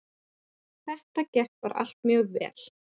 Það gekk allt bara mjög vel.